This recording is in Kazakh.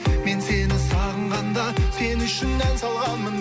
мен сені сағынғанда сен үшін ән салғанмын